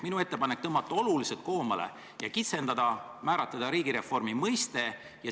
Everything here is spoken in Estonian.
Minu ettepanek on tõmmata seda oluliselt koomale ja kitsendada, määratleda riigireformi mõiste.